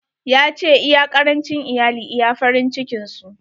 Ya ce, iya karancin iyali iya farin cikin su.